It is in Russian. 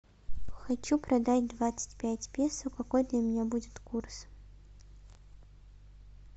хочу продать двадцать пять песо какой для меня будет курс